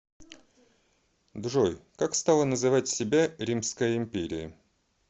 джой как стала называть себя римская империя